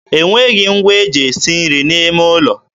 e nweghị ngwa e ji esi nri n'ime ụlọ.